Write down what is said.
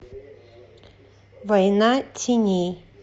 война теней